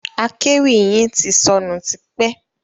Akéwì yin ti sọnù tipẹ́.